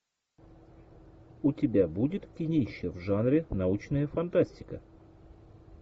у тебя будет кинище в жанре научная фантастика